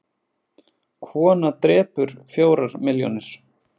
Kona drepur fjórar milljónir